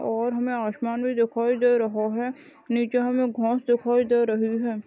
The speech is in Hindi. और हमें आसमान भी दिखाई दे रहा है नीचे हमें घास दिखाई दे रही हैं।